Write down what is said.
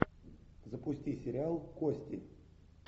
запусти сериал кости